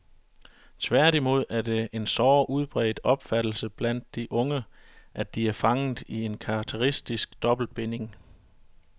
Tværtimod er det en såre udbredt opfattelse blandt de unge, at de er fanget i en karakteristisk dobbeltbinding.